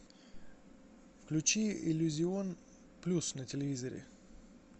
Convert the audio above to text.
включи иллюзион плюс на телевизоре